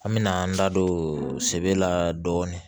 An mɛna an da don sebe la dɔɔni